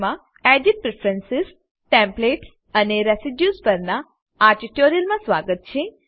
માં edit preference templates અને residues પરનાં આ ટ્યુટોરીયલમાં સ્વાગત છે